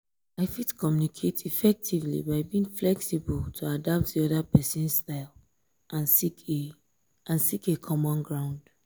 i fit communicate effectively by being flexible to adapt di oda pesin's style and seek a and seek a common ground.